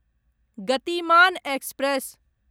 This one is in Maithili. गतिमान एक्सप्रेस